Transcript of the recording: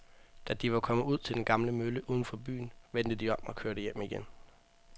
Da de var kommet ud til den gamle mølle uden for byen, vendte de om og kørte hjem igen.